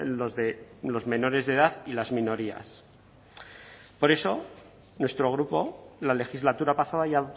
los de los menores de edad y las minorías por eso nuestro grupo la legislatura pasada ya